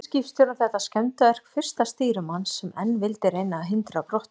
Taldi skipstjórinn þetta skemmdarverk fyrsta stýrimanns, sem enn vildi reyna að hindra brottför.